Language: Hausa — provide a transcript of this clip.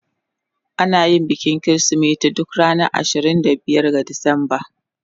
Ana yin bikin Kirsimeti duk ranar ashirin da biyar ga Disamba.